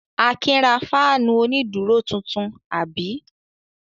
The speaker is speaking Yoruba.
Akin ra fáánù onídùúró tuntun, àbí?